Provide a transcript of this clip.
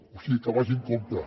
o sigui que vagi amb compte